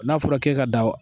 N'a fɔra k'e ka dan